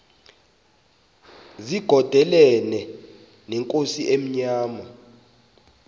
zigondelene neenkosi ezimnyama